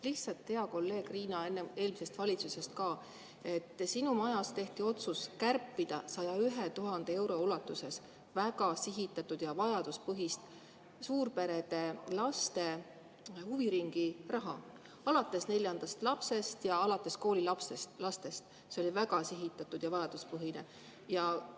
Lihtsalt, hea kolleeg Riina eelmisest valitsusest ka, sinu majas tehti otsus kärpida 101 000 euro ulatuses väga sihitatud ja vajaduspõhist suurperede laste huviringiraha, alates neljandast lapsest ja alates koolilastest, see oli väga sihitatud ja vajaduspõhine.